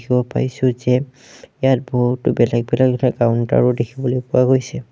দেখিব পাইছোঁ যে ইয়াত বহুতো বেলেগ বেলেগ কাউণ্টাৰ ও দেখিবলৈ পোৱা গৈছে।